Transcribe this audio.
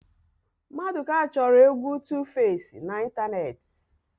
Mmadụka chọrọ égwú Tufesi n'ịntanetị.